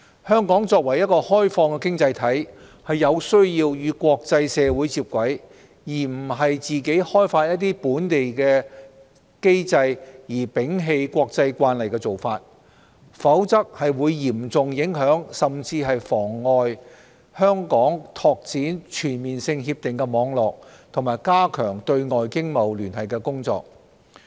香港作為一個開放的經濟體，有需要與國際社會接軌，非自行制訂本地機制而摒棄國際慣例，否則將嚴重影響、甚至妨礙香港拓展全面性協定的網絡及加強對外經貿聯繫的工作。